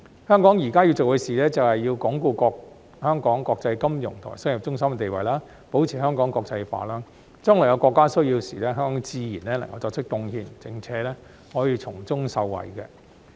香港現在要做的事，便是要鞏固香港國際金融及商業中心的地位，保持香港國際化，將來國家有需要時，香港自然能夠作出貢獻，並可以從中受惠。